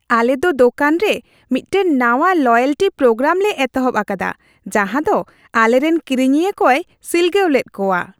ᱟᱞᱮ ᱫᱚ ᱫᱳᱠᱟᱱ ᱨᱮ ᱢᱤᱫᱴᱟᱝ ᱱᱟᱶᱟ ᱞᱚᱭᱮᱞᱴᱤ ᱯᱨᱳᱜᱨᱟᱢ ᱞᱮ ᱮᱛᱚᱦᱚᱵ ᱟᱠᱟᱫᱟ ᱡᱟᱦᱟᱸ ᱫᱚ ᱟᱞᱮᱨᱮᱱ ᱠᱤᱨᱤᱧᱤᱭᱟᱹ ᱠᱚᱭ ᱥᱤᱞᱜᱟᱹᱣ ᱞᱮᱫ ᱠᱚᱣᱟ ᱾